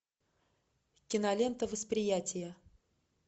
кинолента восприятие